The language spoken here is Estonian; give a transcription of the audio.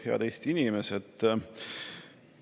Head Eesti inimesed!